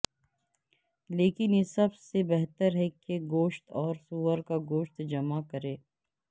لیکن یہ سب سے بہتر ہے کہ گوشت اور سور کا گوشت جمع کریں